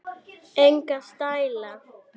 Enga stæla